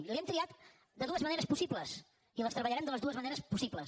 i l’hem triat de dues maneres possibles i les treballarem de les dues maneres possibles